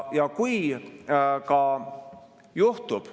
Ja kui ka juhtub ...